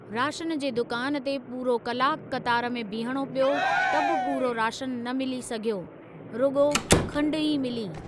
Ration जे दुकान ते पूरो कलाकु क़तार में बीहणो पियो त बि पूरो राशन न मिली सघियो, रुगो॒ खंडु ई मिली।